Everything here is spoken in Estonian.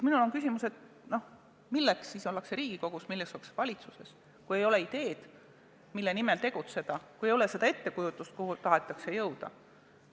Minul on küsimus, et milleks siis ollakse Riigikogus, milleks ollakse valitsuses, kui ei ole ideed, mille nimel tegutseda, kui ei ole ettekujutust, kuhu tahetakse jõuda.